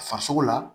Farisogo la